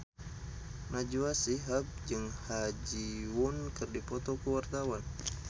Najwa Shihab jeung Ha Ji Won keur dipoto ku wartawan